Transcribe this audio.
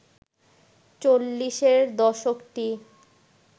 চল্লিশের দশকটি